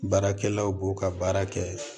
Baarakɛlaw b'o ka baara kɛ